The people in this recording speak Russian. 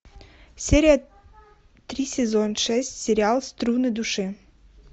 серия три сезон шесть сериал струны души